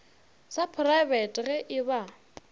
sa praebete ge e ba